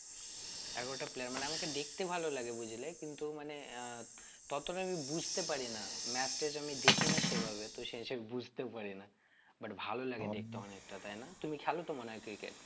এগারোটা player মানে আমাকে দেখতে ভালো লাগে বুঝলে কিন্তু মানে আহ ততটা আমি বুঝতে পারি না match টেচ আমি দেখিনা সে ভাবে তো সেই সেই বুঝতেও পারি না but ভালো লাগে দেখতে অনেকটা তাই না, তুমি খেলো তো মনে হয়ে cricket